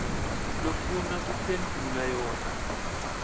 lofuna kuphendvula yona